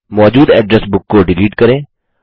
मौजूद address book को delete करें